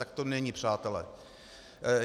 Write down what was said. Tak to není, přátelé.